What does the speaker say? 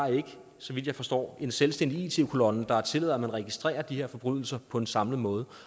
så vidt jeg forstår en selvstændig it kolonne der tillader at man registrerer de her forbrydelser på en samlet måde